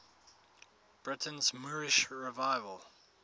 britain's moorish revival